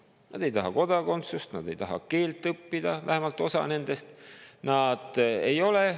Nad ei taha kodakondsust, nad ei taha keelt õppida, vähemalt osa nendest ei taha.